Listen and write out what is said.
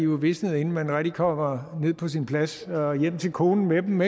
visnet inden man rigtig kommer ned på sin plads og hjem til konen med dem